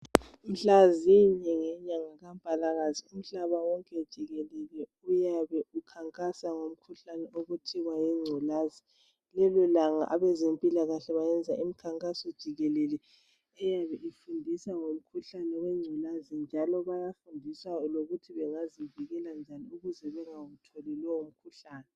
Mhlazinye ngenyanga kaMpalakazi umhlaba wonke jikelele uyabe ukhankasa ngomkhuhlane okuthiwa yingculaza. Lelolanga abazempilakahle bayenza imikhankaso jikilele befundisa ngumkhuhlane wengculaza njalo bayafundisa ngokuthi bangazivikela njani ukuze bangawutholi lowo mkhuhlane.